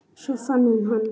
Svo fann hún hann.